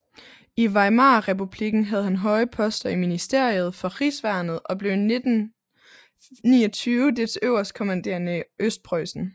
I Weimarrepublikken havde han høje poster i ministeriet for rigsværnet og blev i 1929 dets øverstkommanderende i Østpreussen